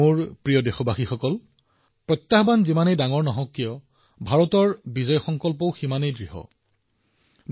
মোৰ মৰমৰ দেশবাসীসকল যিমানেই ডাঙৰ প্ৰত্যাহ্বান নহওক ভাৰতৰ জয়ৰ সংকল্প সদায়ে বৃহৎ হৈ আহিছে